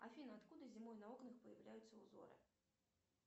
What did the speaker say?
афина откуда зимой на окнах появляются узоры